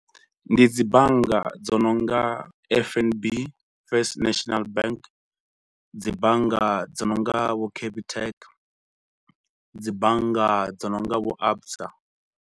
Ndi dzi bannga dzo no nga F_N_B First National Bank, dzi bannga dzi no nga vho Capitec, dzi bannga dzi no nga vho ABSA.